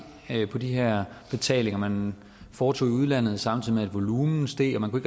på de her betalinger man foretog i udlandet samtidig med at volumen steg og man kunne